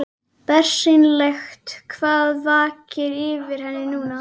Bersýnilegt hvað vakir fyrir henni núna.